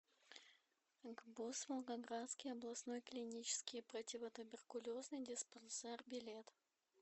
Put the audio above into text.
гбуз волгоградский областной клинический противотуберкулезный диспансер билет